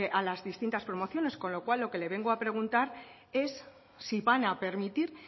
a las distintas promociones con lo cual lo que le vengo a preguntar es si van a permitir